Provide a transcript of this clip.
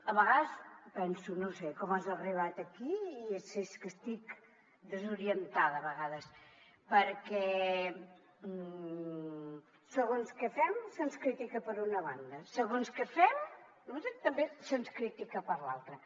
a vegades penso no sé com has arribat aquí i si és que estic desorientada a vegades perquè segons què fem se’ns critica per una banda segons què fem no ho sé també se’ns critica per l’altra